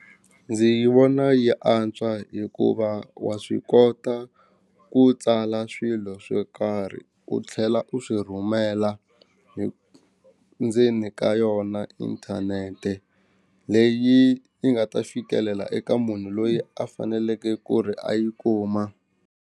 Ndzi yi vona yi antswa hikuva wa swi kota ku tsala swilo swo karhi u tlhela u swi rhumela hi ndzeni ka yona inthanete leyi yi nga ta fikelela eka munhu loyi a faneleke ku ri a yi kuma.